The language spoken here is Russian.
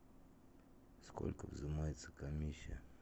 сколько взимается комиссия